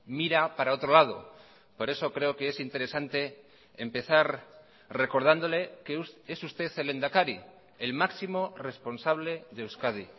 mira para otro lado por eso creo que es interesante empezar recordándole que es usted el lehendakari el máximo responsable de euskadi